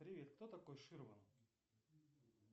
привет кто такой ширман